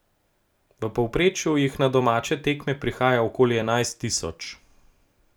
V povprečju jih na domače tekme prihaja okoli enajst tisoč.